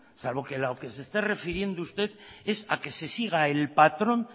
salvo que lo que se está refiriendo usted es a que se siga el patrón